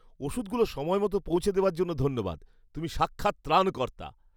ওষুধগুলো সময়মতো পৌঁছে দেওয়ার জন্য ধন্যবাদ। তুমি সাক্ষাৎ ত্রাণকর্তা।